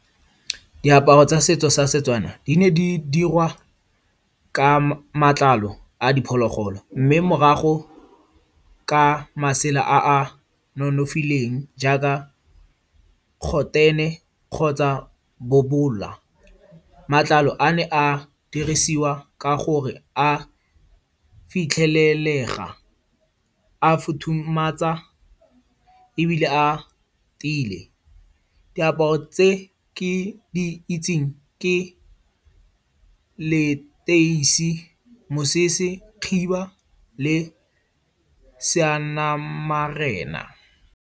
Diaparo tsa setso sa setswana, di ne di dirwa ka matlalo a diphologolo. Mme morago, ka masela a a nonofileng jaaka kgotene kgotsa bobowa. Matlalo a ne a dirisiwa ka gore a fitlhelega, a futhumatsa ebile a tiile. Diaparo tse ke di itseng ke leteisi, mosese, khiba le seanamarena.